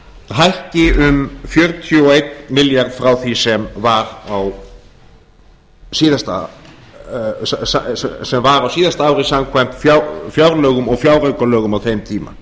hækki um fjörutíu og einn milljarð frá því sem var á síðasta ári samkvæmt fjárlögum og fjáraukalögum á þeim tíma